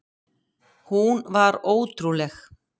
Hún var ótrúleg.